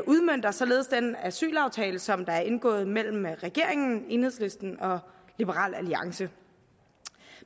udmønter således den asylaftale som er indgået mellem regeringen enhedslisten og liberal alliance